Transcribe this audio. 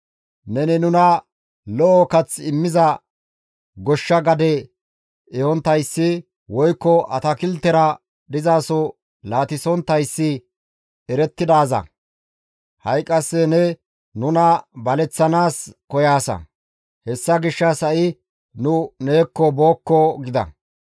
Neni nuna lo7o kath immiza goshsha gade ehonttayssi woykko atakiltera dizaso laatisonttayssi erettidaaza; ha7i qasse ne nuna baleththanaas koyaasa; hessa gishshas ha7i nu neekko bookko!» gida.